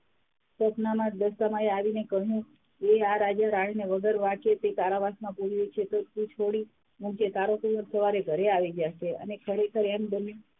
સ્વપનમાં આવી ને દશામાં એ કહ્યું કે આ રાજા -રાણી ને વગર વાંકે તે કારાવાસમાં પુર્યો છે તો તું છોડી મુકજે તારો કુવર સવારે ઘરે આવી જાશે અને ખરેખર એમ બન્યું,